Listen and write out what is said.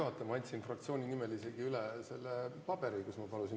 Ma küll andsin fraktsiooni nimel isegi üle selle paberi, kus ma palusin ...